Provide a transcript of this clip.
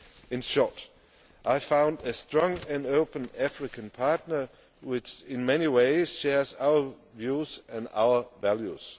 In short, I found a strong and open African partner, which in many ways shares our views and our values.